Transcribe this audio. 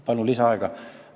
Palun lisaaega!